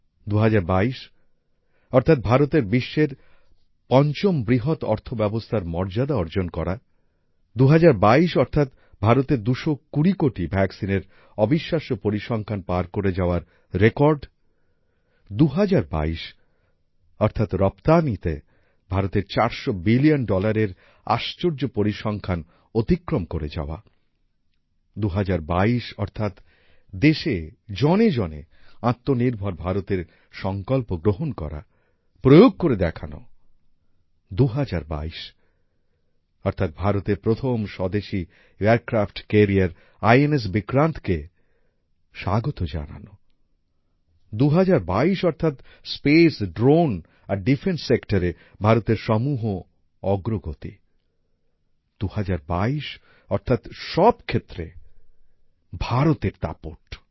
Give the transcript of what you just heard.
২০২২ অর্থাৎ ভারতের বিশ্বের পঞ্চম বৃহৎ অর্থব্যবস্থার মর্যাদা অর্জন করা ২০২২ অর্থাৎ ভারতের ২২০ কোটি ভ্যাকসিনের অবিশ্বাস্য পরিসংখ্যান পার করে যাওয়ার রেকর্ড ২০২২ অর্থাৎ রপ্তানিতে ভারতের চারশো বিলিয়ন ডলারের আশ্চর্য পরিসংখ্যান অতিক্রম করে যাওয়া ২০২২ অর্থাৎ দেশে জনেজনে আত্মনির্ভর ভারতএর সঙ্কল্প গ্রহণ করা প্রয়োগ করে দেখানো ২০২২ অর্থাৎ ভারতের প্রথম স্বদেশী এয়ারক্র্যাফ্ট কোরিয়ার আইএনএস বিক্রান্তকে স্বাগত জানানো ২০২২ অর্থাৎ স্পেস ড্রোন আর ডিফেন্স সেক্টরে ভারতের সমূহ অগ্রগতি ২০২২ অর্থাৎ সব ক্ষেত্রে ভারতের দাপট